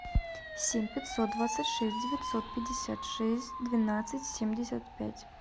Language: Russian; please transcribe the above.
семь пятьсот двадцать шесть девятьсот пятьдесят шесть двенадцать семьдесят пять